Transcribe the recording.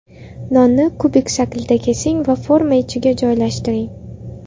Nonni kubik shaklida kesing va forma ichiga joylashtiring.